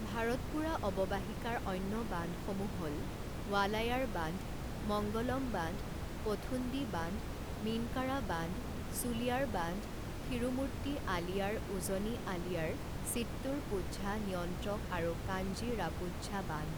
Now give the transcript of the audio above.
ভাৰতপুড়া অৱবাহিকাৰ অন্য বান্ধসমূহ হ'ল ৱালায়াৰ বান্ধ মংগলম বান্ধ পোথুণ্ডি বান্ধ মীনকাৰা বান্ধ চুলিয়াৰ বান্ধ থিৰুমূৰ্তি আলিয়াৰ উজনি আলিয়াৰ চিত্তুৰপুঝা নিয়ন্ত্ৰক আৰু কাঞ্জিৰাপুঝা বান্ধ।